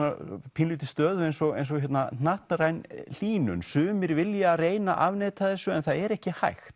pínulítið stöðu eins og eins og hnattræn hlýnun sumir vilja reyna að afneita þessu en það er ekki hægt